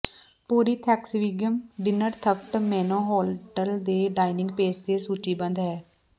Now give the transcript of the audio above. ਪੂਰੀ Thanksgiving dinner ਥੱਫਟ menu hotel ਦੇ dining page ਤੇ ਸੂਚੀਬੱਧ ਹੈ